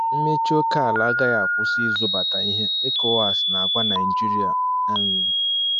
Mmechi oke ala agaghị akwụsi ịzụbata ihe, ECOWAS na-agwa Naịjirịa. um